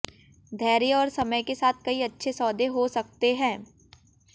धैर्य और समय के साथ कई अच्छे सौदे हो सकते हैं